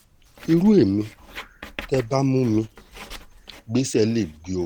irú ẹ̀mí tẹ́ ẹ bá mú mi gbéṣẹ́ lè gbé o